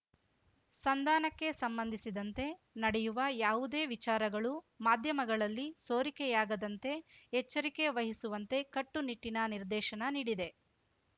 ಸಂಧಾನಕ್ಕೆ ಸಂಬಂಧಿಸಿದಂತೆ ನಡೆಯುವ ಯಾವುದೇ ವಿಚಾರಗಳು ಮಾಧ್ಯಮಗಳಲ್ಲಿ ಸೋರಿಕೆಯಾಗದಂತೆ ಎಚ್ಚರಿಕೆ ವಹಿಸುವಂತೆ ಕಟ್ಟುನಿಟ್ಟಿನ ನಿರ್ದೇಶನ ನೀಡಿದೆ